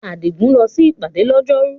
Adigun lọ sí ìpàdé lọ́jọ́rú.